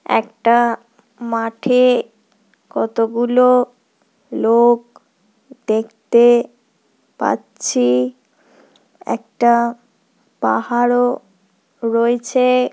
একটা মাঠে কতগুলো লোক দেখতে পাচ্ছি একটা পাহাড়ও রয়েছে।